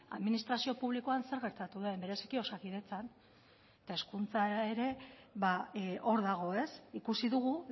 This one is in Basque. administrazio publikoan zer gertatu den bereziki osakidetzan eta hezkuntza ere hor dago ikusi dugu